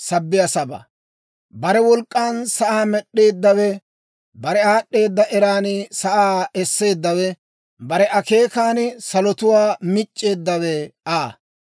Bare wolk'k'an sa'aa med'd'eeddawe, bare aad'd'eeda eran sa'aa esseeddawe, bare akeekan salotuwaa mic'c'eeddawe Aa.